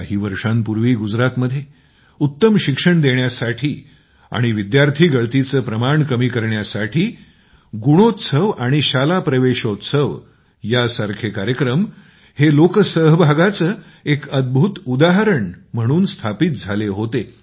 काही वर्षांपूर्वीगुजरातमध्ये उत्तम शिक्षण देण्यासाठी आणि विद्यार्थी गळतीचे प्रमाण कमी करण्यासाठी गुणोत्सव आणि शाला प्रवेशोत्सव यासारखे कार्यक्रम हे लोकसहभागाचे एक अद्भुत उदाहरण म्हणून स्थापित झाले होते